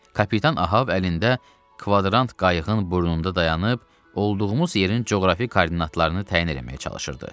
Kapitan Ahav əlində kvadrant qayıqın burnunda dayanıb, olduğumuz yerin coğrafi koordinatlarını təyin eləməyə çalışırdı.